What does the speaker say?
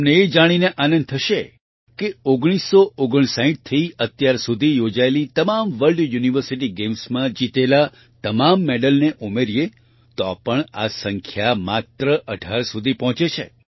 તમને એ જાણીને આનંદ થશે કે 1959થી અત્યાર સુધી યોજાયેલી તમામ વર્લ્ડ યુનિવર્સિટી Gamesમાં જીતેલા તમામ મેડલને ઉમેરીએ તો પણ આ સંખ્યા માત્ર 18 સુધી પહોંચે છે